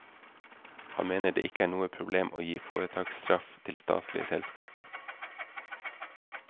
Han mener det ikke er noe problem å gi foretaksstraff til statlige selskaper.